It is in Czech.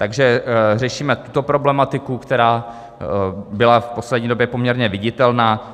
Takže řešíme tuto problematiku, která byla v poslední době poměrně viditelná.